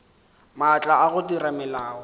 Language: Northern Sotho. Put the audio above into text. maatla a go dira melao